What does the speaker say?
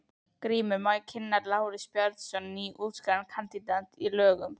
GRÍMUR: Má ég kynna: Lárus Bjarnason, nýútskrifaður kandidat í lögum.